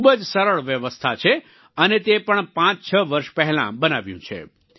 ખૂબ જ સરળ વ્યવસ્થા છે અને તે પણ પાંચછ વર્ષ પહેલાં બનાવ્યું છે